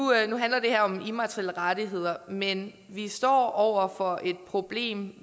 handler det her jo om immaterielle rettigheder men vi står over for et problem